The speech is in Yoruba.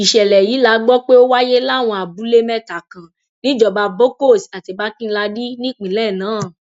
ìṣẹlẹ yìí la gbọ pé ó wáyé láwọn abúlé mẹta kan níjọba bokkos àti barkinladi nípìnlẹ náà